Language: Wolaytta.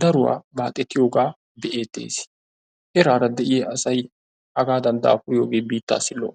daruwaa baaxetiyoogaa be'eettes. Eraara de'iyaa asay hagaadan dapuriyoogee biittaassi lo'o.